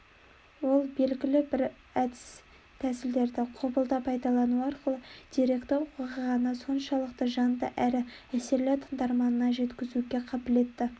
ол белгілі әдіс-тәсілдерді құбылта пайдалану арқылы деректі оқиғаны соншалықты жанды әрі әсерлі тыңдарманына жеткізуге қабілетті